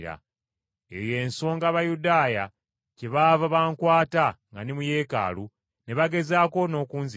Eyo y’ensonga Abayudaaya kyebaava bankwata nga ndi mu Yeekaalu ne bagezaako n’okunzita.